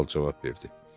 Kral cavab verdi.